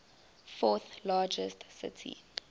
fourth largest city